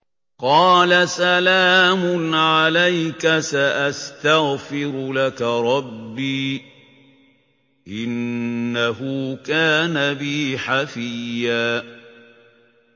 قَالَ سَلَامٌ عَلَيْكَ ۖ سَأَسْتَغْفِرُ لَكَ رَبِّي ۖ إِنَّهُ كَانَ بِي حَفِيًّا